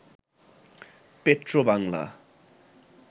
Petrobangla